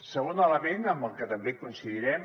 segon element amb el que també coincidirem